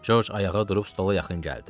Corc ayağa durub stola yaxın gəldi.